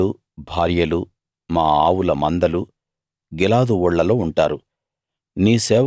మా పిల్లలు భార్యలు మా ఆవుల మందలు గిలాదు ఊళ్ళలో ఉంటారు